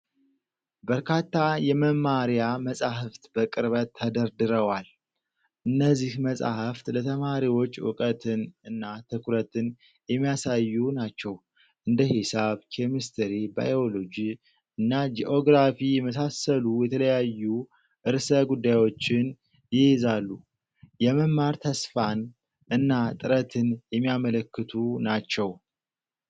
በርካታ የመማሪያ መጽሐፍት በቅርበት ተደርድረዋል። እነዚህ መጽሐፍት ለተማሪዎች እውቀትን እና ትኩረትን የሚያሳዩ ናቸው፣ እንደ ሂሳብ፣ ኬሚስትሪ፣ ባዮሎጂ እና ጂኦግራፊ የመሳሰሉ የተለያዩ ርዕሰ ጉዳዮችን ይይዛሉ። የመማር ተስፋን እና ጥረትን የሚያመለክቱ ናቸው።